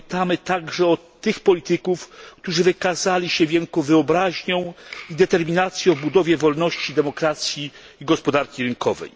Pamiętajmy także o tych politykach, którzy wykazali się wielką wyobraźnią i determinacją w budowie wolności, demokracji i gospodarki rynkowej.